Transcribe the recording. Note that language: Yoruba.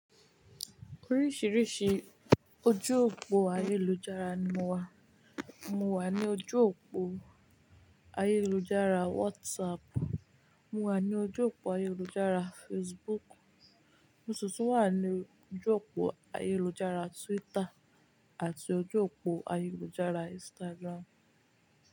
Oríṣìíríṣìí ojú òpó ayélujára ni mo wà. Mo wà ní ojú òpó ayélujára WhatsApp, mo wà ní ojú òpó ayélujára Facebook, mo sì tún wà ní ojú òpó ayélujára Twitter àti ojú òpó ayélujára Instagram.